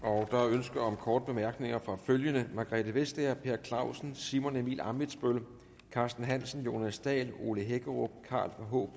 ønske om korte bemærkninger fra følgende margrethe vestager per clausen simon emil ammitzbøll carsten hansen jonas dahl ole hækkerup karl h